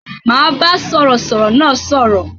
Ma bá sọ̀rọ̀ sọ̀rọ̀ náà sọ̀rọ̀